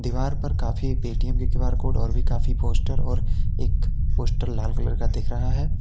दीवार पर काफी पेटीएम के क्यू_आर कोड और भी काफी पोस्टर और एक पोस्टर लाल कलर का दिख रहा है।